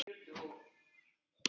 Ég er mjög þrjósk.